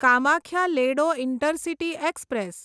Kamakhya Ledo intercity express